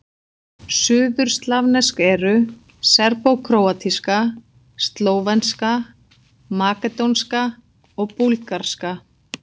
Suðurslavnesk eru: serbókróatíska, slóvenska, makedónska og búlgarska.